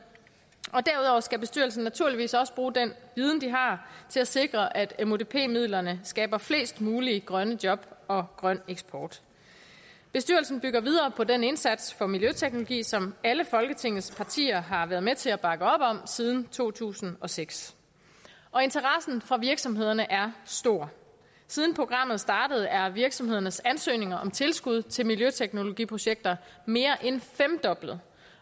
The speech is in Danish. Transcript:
og derudover skal bestyrelsen naturligvis også bruge den viden de har til at sikre at mudp midlerne skaber flest mulige grønne job og grøn eksport bestyrelsen bygger videre på den indsats for miljøteknologi som alle folketingets partier har været med til at bakke op om siden to tusind og seks interessen fra virksomhederne er stor siden programmet startede er virksomhedernes ansøgninger om tilskud til miljøteknologiprojekter mere end femdoblet